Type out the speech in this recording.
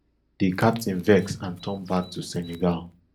di captain vex and turn back to senegal